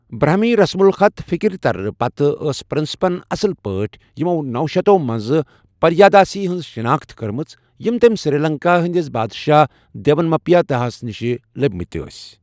برہمی رسم الخط فکرِ ترنہٕ پتہٕ، ٲس پرنسپَن اصلی پٲٹھہِ یمو نوشتو منٛزٕ 'پریاداسی' ہٕنٛز شناخت كٕرمٕژ یم تم سری لنكایہ ہندِس بادشاہ دیونمپیا تیساہس نِش لبِمٕتہِ ٲسہِ ۔